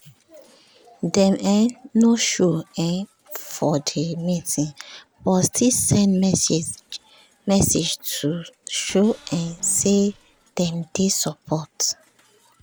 dem um no show um for the meeting but still send message to show um say dem dey support